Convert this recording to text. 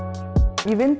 ég vinn